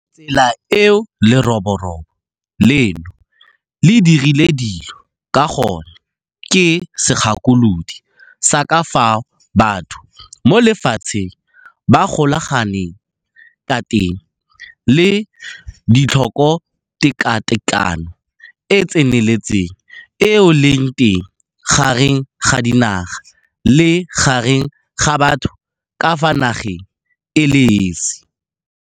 Tsela eo leroborobo leno le dirileng dilo ka gone ke segakolodi sa ka fao batho mo lefatsheng ba golaganeng ka teng le tlhokotekatekano e e tseneletseng eo e leng teng gareng ga dinaga le gareng ga batho ka fa nageng e le esi.